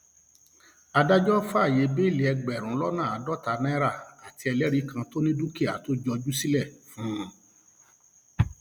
adájọ fàáyé bẹẹlí ẹgbẹrún lọnà àádọta náírà àti ẹlẹrìí kan tó ní dúkìá tó jọjú sílẹ fún un